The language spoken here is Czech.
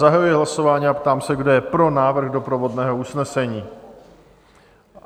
Zahajuji hlasování a ptám se, kdo je pro návrh doprovodného usnesení?